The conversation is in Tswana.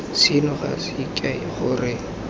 seno ga se kae gore